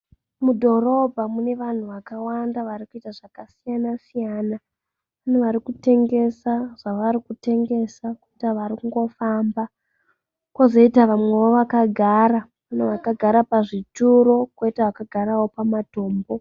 Mudhorobha mune vanhu vakawanda varikuita zvakasiyana siyana. Mune varikutengesa zvavarikutengesa. Poita varikungofamba. Kozoita vamwewo vakagara, kune vakagara pazvituro koita vakagarawo pazvitombo